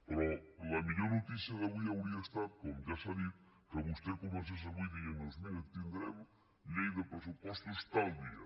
però la millor notícia d’avui hauria estat com ja s’ha dit que vostè comencés avui dient nos mira tindrem llei de pressupostos tal dia